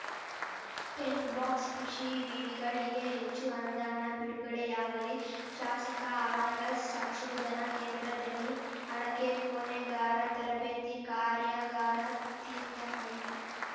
tent box ಕೃಷಿ ವಿವಿಗಳಿಗೆ ಹೆಚ್ಚು ಅನುದಾನ ಬಿಡುಗಡೆಯಾಗಲಿ ಶಾಸಕ ಆರಗ ಸಂಶೋಧನಾ ಕೇಂದ್ರದಲ್ಲಿ ಅಡಕೆ ಕೊನೆಗಾರ ತರಬೇತಿ ಕಾರ್ಯಾಗಾರ ತೀರ್ಥಹಳ್ಳಿ